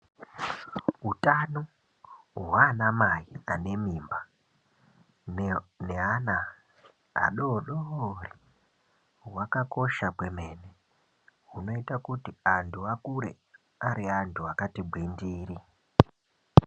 Utano hwanamai vanemimba neana adodori hwakakosha kwemene hunoita kuti antu akure ari antu akati gwindiri